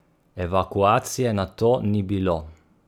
Evakuacije nato ni bilo.